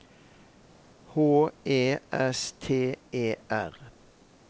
H E S T E R